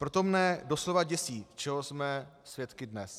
Proto mne doslova děsí, čeho jsme svědky dnes.